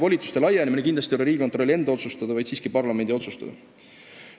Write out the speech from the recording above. Volituste laiendamine ei ole aga kindlasti mitte Riigikontrolli enda, vaid siiski parlamendi otsustada.